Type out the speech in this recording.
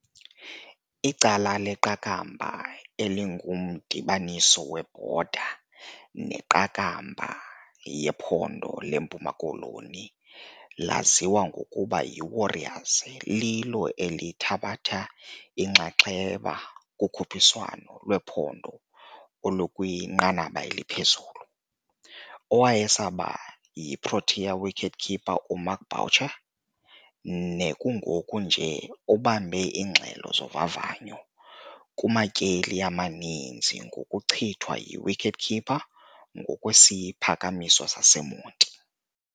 Icala leQakambha elingumdibaniso webhoda neQakambha yephondo leMpuma Koloni laziwa ngokuba yiWarriors lilo elithabatha inxaxheba kukhuphiswano lwephondo olukwinqanaba eliphezulu. Owayesakuba yi-Proteas wicketkeeper uMark Boucher nekungoku nje ubambe iingxelo zovavanyo kumatyeli amaninzi ngokuchithwa yi-wicketkeeper ngokwesiphakamiso saseMonti.